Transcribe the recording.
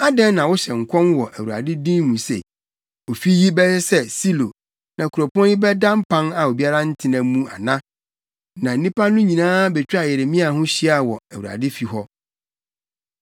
Adɛn na wohyɛ nkɔm wɔ Awurade din mu se, ofi yi bɛyɛ sɛ Silo na kuropɔn yi bɛda mpan a obiara ntena mu ana?” Na nnipa no nyinaa betwaa Yeremia ho hyiaa wɔ Awurade fi hɔ.